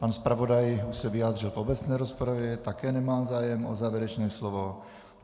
Pan zpravodaj už se vyjádřil v obecné rozpravě, také nemá zájem o závěrečné slovo.